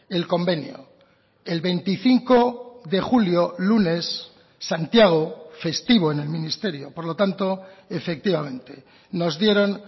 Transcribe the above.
el convenio el veinticinco de julio lunes santiago festivo en el ministerio por lo tanto efectivamente nos dieron